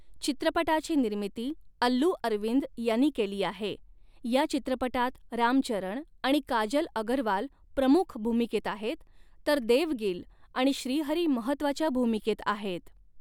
चित्रपटाची निर्मिती अल्लू अरविंद यांनी केली आहे, या चित्रपटात राम चरण आणि काजल अगरवाल प्रमुख्य भूमिकेत आहेत तर देव गिल आणि श्रीहरी महत्त्वाच्या भूमिकेत आहेत.